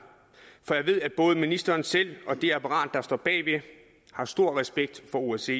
for jeg ved at både ministeren selv og det apparat der står bag har stor respekt for osce